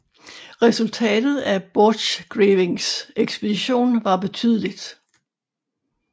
Resultatet af Borchgrevinks ekspedition var betydeligt